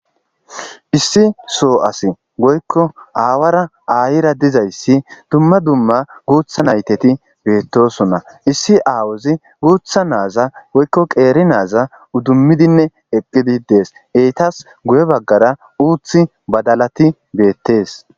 Issi so asayi woykko awara ayyera diza issi dumma dumma gutha nayita betosona.issi awazi gutha nayita woykko qeeri nayita udumidine eki bidi dess.ezara uti badalati beettes.